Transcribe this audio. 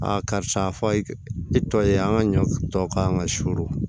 karisa i tɔ ye an ka ɲɔ tɔ kan ka suuru